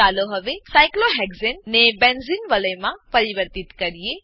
ચાલો હવે સાયક્લોહેક્સાને સાયક્લોહેક્ઝેન ને બેન્ઝેને બેન્ઝીન વલયમાં પરિવર્તિત કરીએ